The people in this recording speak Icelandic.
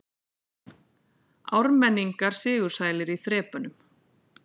Ármenningar sigursælir í þrepunum